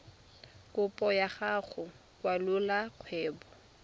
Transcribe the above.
kopo ya go kwalolola kgwebo